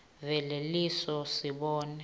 vele leso sibongo